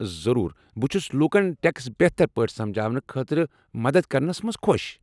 ضروٗر، بہ چھس لوُکن ٹیكس بہتر پٲٹھۍ سمجاونہٕ خٲطرٕ مدتھ کرنس منٛز خۄش۔